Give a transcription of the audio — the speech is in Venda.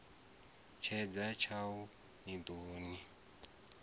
tshedza tshaṋu i ḓo ni